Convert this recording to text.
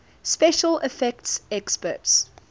special effects experts